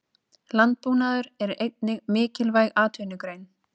Landbúnaður er einnig mikilvæg atvinnugrein.